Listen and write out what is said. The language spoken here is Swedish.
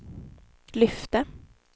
lyfte